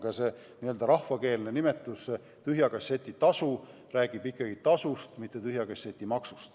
Ka see rahvakeelne nimetus "tühja kasseti tasu" räägib ikkagi tasust, mitte tühja kasseti maksust.